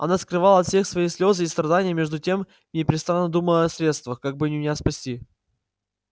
она скрывала от всех свои слезы и страдания и между тем непрестанно думала о средствах как бы меня спасти